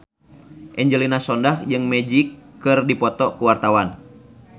Angelina Sondakh jeung Magic keur dipoto ku wartawan